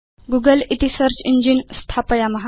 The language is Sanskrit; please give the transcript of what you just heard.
गूगल इति सेऽर्च इञ्जिन स्थापयाम